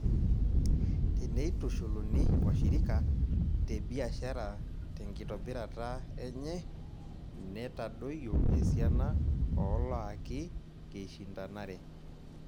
Teneitushuluni iwashirika tebiashara tenkitobirata enye, netadoyio esiana ooloaki keishindanare.